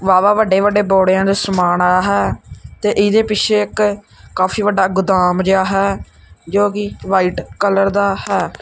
ਵਾਹ ਵਾਹ ਵੱਡੇ ਵੱਡੇ ਬੋਰਿਆਂ ਤੇ ਸਮਾਨ ਆਇਆ ਹੈ ਤੇ ਇਹਦੇ ਪਿੱਛੇ ਇੱਕ ਕਾਫੀ ਵੱਡਾ ਗੋਦਾਮ ਜਿਹਾ ਹੈ ਜੋਕਿ ਵ੍ਹਾਈਟ ਕਲਰ ਦਾ ਹੈ।